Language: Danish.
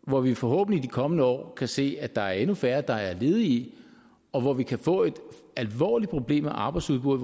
hvor vi forhåbentlig i de kommende år kan se at der er endnu færre der er ledige og hvor vi kan få et alvorligt problem med arbejdsudbuddet